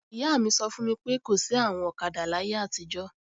Ìyá mi sọ fún mi pé, kò sí àwọn ọ̀kadà láyé àtijọ́